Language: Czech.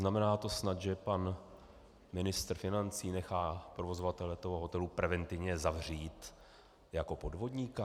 Znamená to snad, že pan ministr financí nechá provozovatele toho hotelu preventivně zavřít jako podvodníka?